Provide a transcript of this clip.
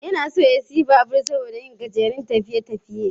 Yana so ya sayi babur saboda yin gajerun tafiye-tafiye